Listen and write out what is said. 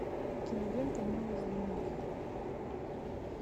кинолента неуязвимый